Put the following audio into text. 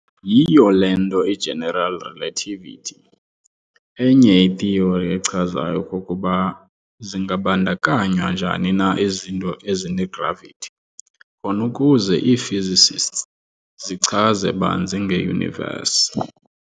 Yhiyo le nto i-General Relativity, enye i-theory echazayo okokuba zingabandakanywa njani na izinto ezine-gravity, khon'ukuze ii-physicists zichaze banzi nge-universe.